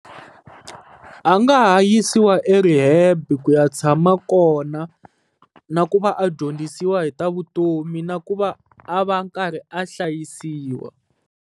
A nga ha yisiwa erehab ku ya tshama kona na ku va a dyondzisiwa hi ta vutomi na ku va a va karhi a hlayisiwa.